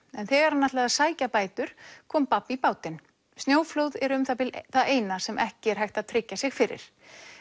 en þegar hann ætlaði að sækja bætur kom babb í bátinn snjóflóð eru um það bil það eina sem ekki er hægt að tryggja sig fyrir